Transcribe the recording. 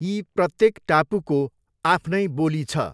यी प्रत्येक टापुको आफ्नै बोली छ।